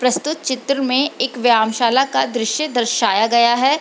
प्रस्तुत चित्र में एक व्यामशाला का दृश्य दर्शाया गया है।